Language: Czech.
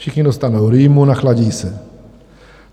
Všichni dostanou rýmu, nachladí se.